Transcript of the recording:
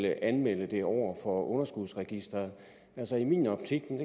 at anmelde det over for underskudsregisteret altså i min optik men